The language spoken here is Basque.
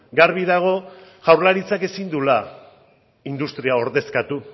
garbi dago jaurlaritzak ezin duela industria ordezkatu